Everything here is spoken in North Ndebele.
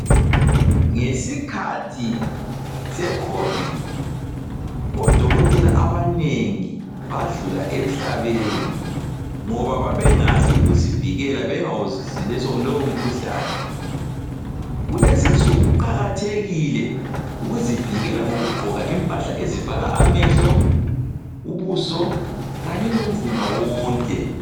Ngesikhathi se COVID, odokotela abanengi badlula emhlabeni ngoba babengazi ukuzivikela bengawuzwisisi lowomkhuhlane. Kulezinsuku kuqakathekile ukuzivikela ngokugqoka impahla ezivala amehlo, ubuso kanye lomzimba wonke.